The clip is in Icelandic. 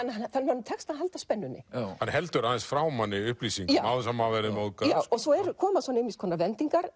honum tekst að halda spennunni hann heldur aðeins frá manni upplýsingum án þess að maður verði móðgaður já og svo koma svona ýmiss konar vendingar